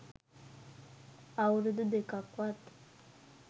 අවුරුදු දෙකක්වත්